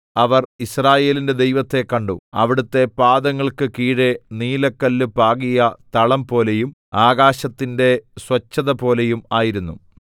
അവർ യിസ്രായേലിന്റെ ദൈവത്തെ കണ്ടു അവിടുത്തെ പാദങ്ങൾക്ക് കീഴെ നീലക്കല്ല് പാകിയ തളം പോലെയും ആകാശത്തിന്റെ സ്വച്ഛതപോലെയും ആയിരുന്നു